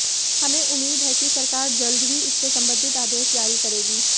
हमें उम्मीद है कि सरकार जल्द ही इससे संबंधित आदेश जारी करेगी